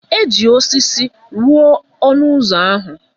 Eji osisi rụọ ọnụ ụzọ ahụ.